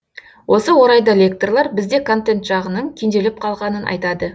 осы орайда лекторлар бізде контент жағының кенжелеп қалғанын айтады